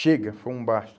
Chega, foi um basta.